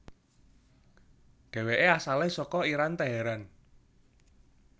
Dheweke asale saka Iran Teheran